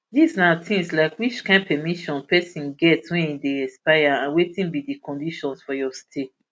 dis na tins like which kain permissions pesin get wen e dey expire and wetin be di conditions for your stay